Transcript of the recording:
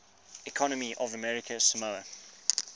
economy of american samoa